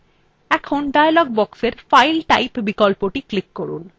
এখন dialog বক্সের file type বিকল্পটি click করুন